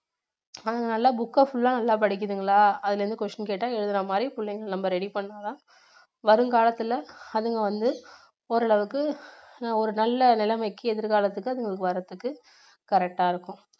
அதனால book full லா நல்லா படிக்குதுங்களா அதுல இருந்து question கேட்டா எழுதுற மாதிரி புள்ளைங்க நம்ம ready பண்ணா தான் வருங்காலத்தில அதுங்க வந்து ஓரளவுக்கு ஒரு நல்ல நிலைமைக்கு எதிர்காலத்துக்கு அதுங்களுக்கு வர்றதுக்கு correct டா இருக்கும்